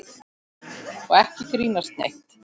Og ekki grínast neitt!